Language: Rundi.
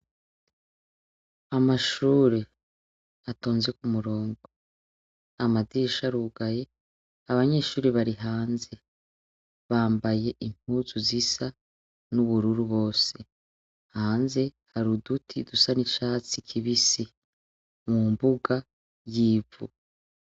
Amashure, atonze ku murongo, amadirisha arugaye, abanyeshure bari hanze; bambaye impuzu zisa n'ubururu bose. Hanze hari uduti dusa n'icatsi kibisi; mu mbuga y'ivu.